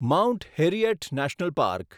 mount Harriet National park